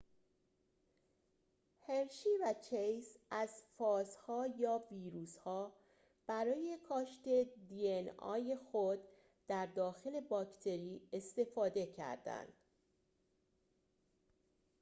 هرشی و چیس از فاژها یا ویروس‌ها برای کاشت دی‌ان‌ای خود در داخل باکتری استفاده کردند